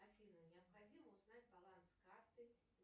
афина необходимо узнать баланс карты